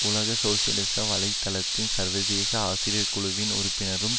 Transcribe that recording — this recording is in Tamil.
உலக சோசியலிச வலை தளத்தின் சர்வதேச ஆசிரியர் குழுவின் உறுப்பினரும்